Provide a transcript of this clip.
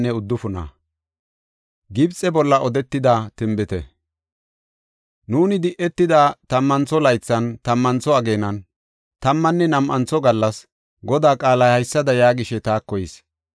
Nuuni di7etida tammantho laythan, tammantho ageenan, tammanne nam7antho gallas, Godaa qaalay haysada yaagishe taako yis.